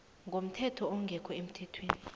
komthetho ongekho emithethweni